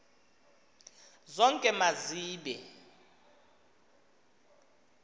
zonke ma zibe